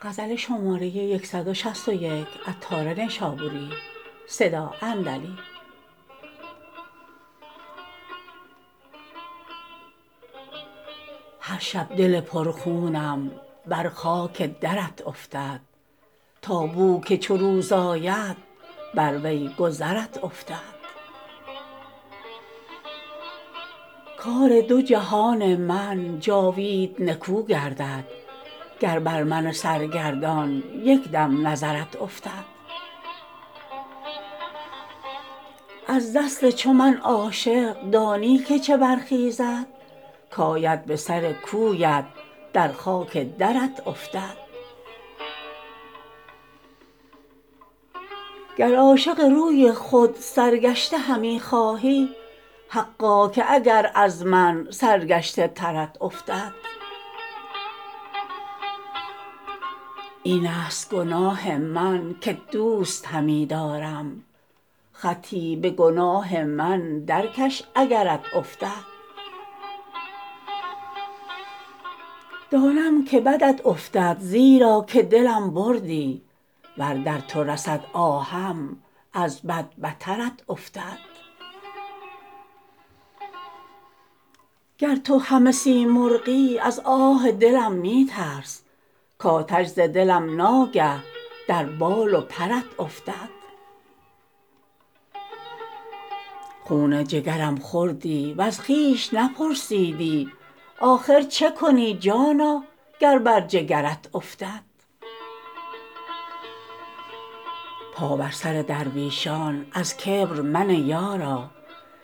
هر شب دل پر خونم بر خاک درت افتد تا بو که چو روز آید بر وی گذرت افتد کار دو جهان من جاوید نکو گردد گر بر من سرگردان یک دم نظرت افتد از دست چو من عاشق دانی که چه برخیزد کاید به سر کویت در خاک درت افتد گر عاشق روی خود سرگشته همی خواهی حقا که اگر از من سرگشته ترت افتد این است گناه من کت دوست همی دارم خطی به گناه من درکش اگرت افتد دانم که بدت افتد زیرا که دلم بردی ور در تو رسد آهم از بد بترت افتد گر تو همه سیمرغی از آه دلم می ترس کاتش ز دلم ناگه در بال و پرت افتد خون جگرم خوردی وز خویش نپرسیدی آخر چکنی جانا گر بر جگرت افتد پا بر سر درویشان از کبر منه یارا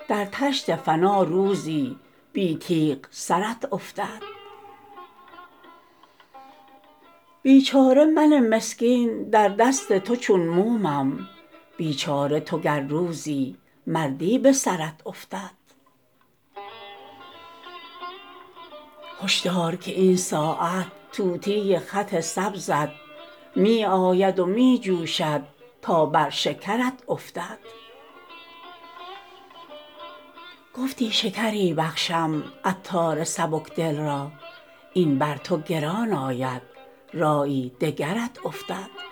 در طشت فنا روزی بی تیغ سرت افتد بیچاره من مسکین در دست تو چون مومم بیچاره تو گر روزی مردی به سرت افتد هش دار که این ساعت طوطی خط سبزت می آید و می جوشد تا بر شکرت افتد گفتی شکری بخشم عطار سبک دل را این بر تو گران آید رایی دگرت افتد